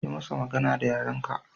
Yi masa magana da yaren ka